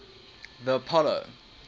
the apollo